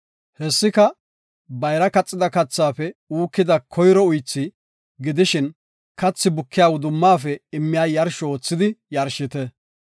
Hessika, bayra kaxida kathaafe uukida koyro uythi, gidishin, kathi bukiya wudumaafe immiya yarsho oothidi yarshite.